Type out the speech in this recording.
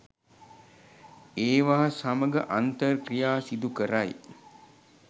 ඒවා සමඟ අන්තර් ක්‍රියා සිදුකරයි.